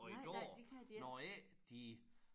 Og i går når ikke de